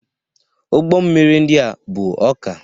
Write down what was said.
Ụgbọ mmiri ndị a bu ọka.